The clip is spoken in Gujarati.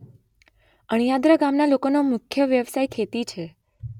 અણિયાદરા ગામના લોકોનો મુખ્ય વ્યવસાય ખેતી છે